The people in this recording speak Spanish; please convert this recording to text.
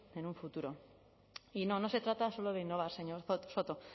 en un futuro y no no se trata solo de innovar señor soto